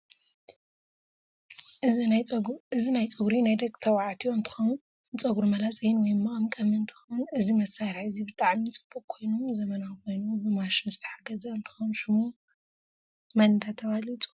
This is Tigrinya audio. እዚ ናይ ፀግሪ ናይ ደቂ ተባዕትየፐ እንትከውን ንፀግ መላፀይ ወይ መቀምቀሚ እንትከውን እዚ መሳርሕ እዚ ብጣዓሚ ፅቡቅ ኮይኑ ዘመናዊ ኮይኑ ብማሽን ዝተሓገዘ እንትከውን ሽሙ ምን እደተበሃለ ይፅዋዕ?